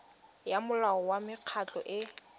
ya molao wa mekgatlho e